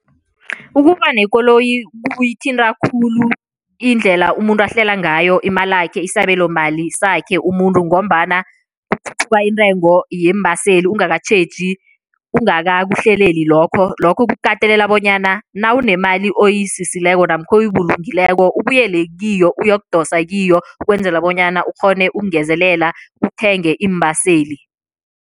Ukuba nekoloyi kuyithinta khulu indlela umuntu ahlela ngayo imalakhe, isabelomali sakhe umuntu ngombana kukhuphuka intengo yeembaseli ungakatjheji, ungakakuhleleli lokho. Lokho kukatelela bonyana nawunemali oyisisileko namkha oyibulungileko, ubuyele kiyo uyokudosa kiyo, ukwenzela bonyana ukghone ukungezelela uthenge iimbaseli.